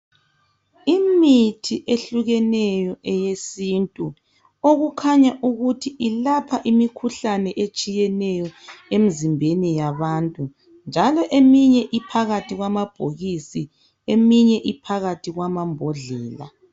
Imithi ehlukeneyo eyesintu okukhanya ukuthi ilapha imikhuhlane ehlukeneyo emzimbeni yabantu njalo eminye iphakathi kwamabhokisi eminye iphakathi kwamambodlela